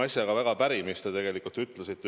Ma olen väga päri mitme asjaga, mis te ütlesite.